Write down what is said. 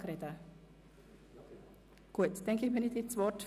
Ich erteile nun Grossrat Boss das Wort.